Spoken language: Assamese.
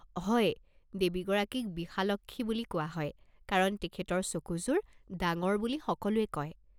হয়, দেৱীগৰাকীক বিশালক্ষী বুলি কোৱা হয় কাৰণ তেখেতৰ চকুযোৰ ডাঙৰ বুলি সকলোৱে কয়।